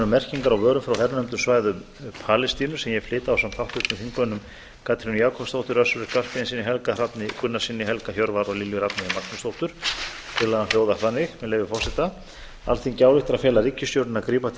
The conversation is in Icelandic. merkingar á vörum frá hernumdum svæðum palestínu sem ég flyt ásamt háttvirtum þingmönnum katrínu jakobsdóttur össuri skarphéðinssyni helga hrafni gunnarssyni helga hjörvar og lilju rafneyju magnúsdóttur tillagan hljóðar þannig með leyfi forseta alþingi ályktar að fela ríkisstjórninni að grípa til